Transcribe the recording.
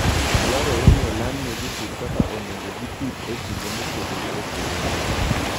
Dwarore ni oland ne jopur kaka onego gipidh e kinde mopogore opogore.